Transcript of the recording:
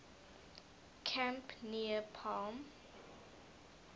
camp near palm